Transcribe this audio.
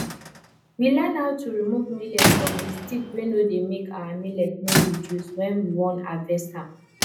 we learn how to remove millet from the stick wey no dey make our millet no reduce when we won harvest am